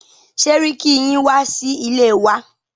Sẹ́ríkí yín wá sí ilé wa.